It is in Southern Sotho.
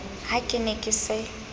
ha ke ne ke se